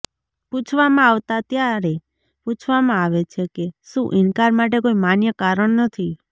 પૂછવામાં આવતા ત્યારે પૂછવામાં આવે છે કે શું ઇનકાર માટે કોઈ માન્ય કારણ નથી